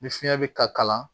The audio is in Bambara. Ni fiɲɛ be ka kalan